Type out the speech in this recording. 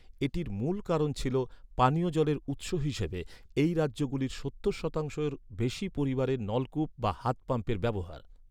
এটির মূল কারণ ছিল, পানীয় জলের উৎস হিসাবে, এই রাজ্যগুলির সত্তর শতাংশের বেশি পরিবারের নলকূপ বা হাত পাম্পের ব্যবহার।